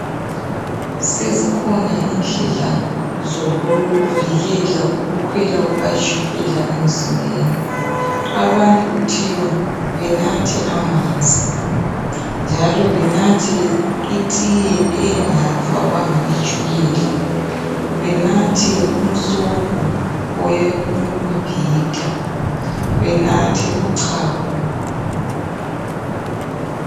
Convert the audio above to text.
Sezikhona indlela zokuvikela ikukhwela kukatshulela emzimbeni . Abantu kuthiwa benathe amanzi njalo benathe itiye engafakwanga itshukela benathe umsobho wemibhida benathe uchago.